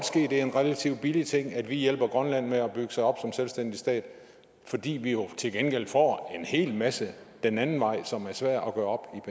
ske at det er en relativt billig ting at vi hjælper grønland med at bygge sig op som selvstændig stat fordi vi jo til gengæld får en hel masse den anden vej som er svært at gøre